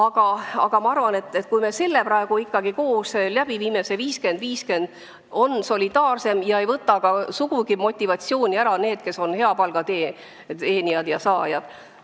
Samas ma arvan, et kui me selle 50 : 50 kehtestame, siis on süsteem solidaarsem ega võta ka sugugi motivatsiooni ära neilt, kes on hea palga saajad.